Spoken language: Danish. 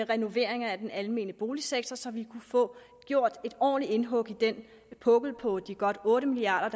renovering af den almene boligsektor så vi kunne få gjort et ordentligt indhug i den pukkel på de godt otte milliard